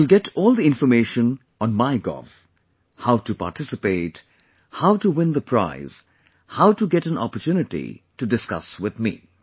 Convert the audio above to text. You will get all the information on MyGov how to participate, how to win the prize, how to get an opportunity to discuss with me